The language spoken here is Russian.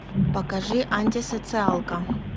покажи антисоциалка